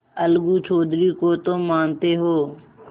अलगू चौधरी को तो मानते हो